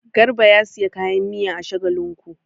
Garba ya sayi kayan miya a Shagalinku.